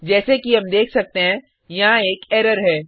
जैसे कि हम देख सकते हैं यहाँ एक एरर है